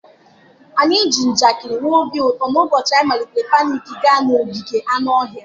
Anyị ji njakịrị nwee obi ụtọ n'ụbọchị anyị malitere picnic gaa n'ogige anụ ọhịa.